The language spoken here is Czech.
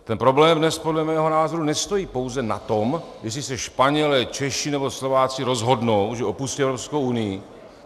Ten problém dnes podle mého názoru nestojí pouze na tom, jestli se Španělé, Češi nebo Slováci rozhodnou, že opustí Evropskou unii.